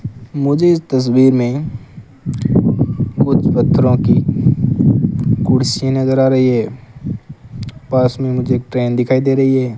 मुझे तस्वीर में कुछ पत्थरों की कुर्सी नजर आ रही है पास में मुझे ट्रेन दिखाई दे रही है।